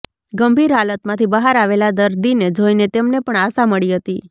ગંભીર હાલતમાંથી બહાર આવેલા દર્દીને જોઈને તેમને પણ આશા મળી હતી